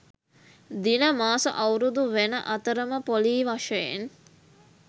දින මාස අවුරුදු වෙන අතරම පොලී වශයෙන්